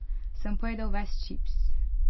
Sem pojedel ves čips?